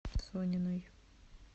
сониной